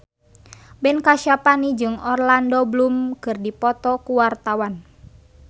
Ben Kasyafani jeung Orlando Bloom keur dipoto ku wartawan